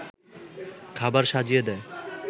খাবার সাজিয়ে দেয়